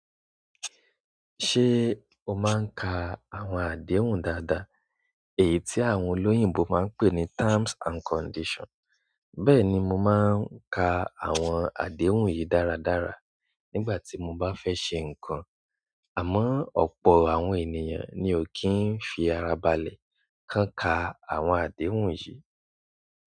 Ṣé o máa ń ka àwọn àdéhùn dáadáa, èyí tí àwọn olóyìnbo máa ń pè ní "terms and conditions"? Bẹ́ẹ̀ni, mo máa ń ka àwọn àdéhùn yìí dáradára nígbà tí mo bá fẹ́ ṣe nǹkan, àmọ́ ọ̀pọ̀ àwọn ènìyàn ni ò kí ń fi ara balẹ̀ kán ka àwọn àdéhùn yìí.